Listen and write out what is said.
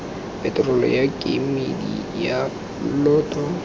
peterolo ya kemedi ya lloto